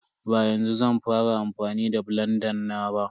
Ba yanzu zan fara amfani da blanda na ba.